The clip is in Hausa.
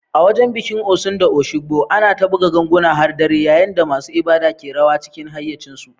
A wajen bikin Osun da Osogbo, ana ta buga ganguna har dare, yayin da masu ibada ke rawa cikin hayyacinsu.